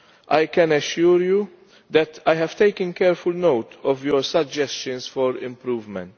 I can assure you that I have taken careful note of your suggestions for improvement.